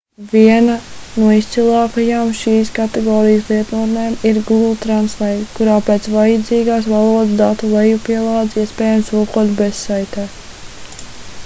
viena no izcilākajām šīs kategorijas lietotnēm ir google translate kurā pēc vajadzīgās valodas datu lejupielādes iespējams tulkot bezsaistē